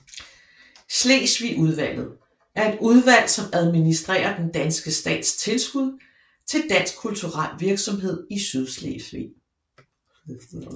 Sydslesvigudvalget er et udvalg som administerer den danske stats tilskud til dansk kulturel virksomhed i Sydslesvig